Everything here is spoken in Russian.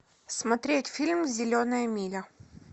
смотреть фильм зеленая миля